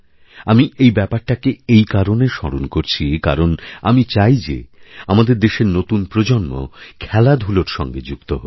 আমি এই ব্যাপারটাকে এই কারণে স্মরণ করছি কারণ আমি চাই যে আমাদেরদেশের নতুন প্রজন্ম খেলাধুলোর সঙ্গে যুক্ত হোক